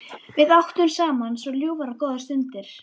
Við áttum saman svo ljúfar og góðar stundir.